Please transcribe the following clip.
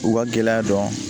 U ka gɛlɛya dɔn